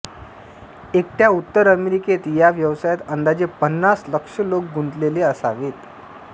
एकट्या उत्तर अमेरिकेत या व्यवसायात अंदाजे पन्नास लक्ष लोक गुंतलेले असावेत